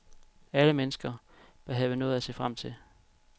Alle mennesker bør have noget at se frem til.